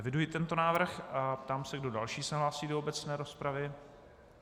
Eviduji tento návrh a ptám se, kdo další se hlásí do obecné rozpravy.